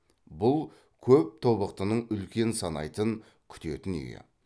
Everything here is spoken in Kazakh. бұл көп тобықтының үлкен санайтын күтетін үйі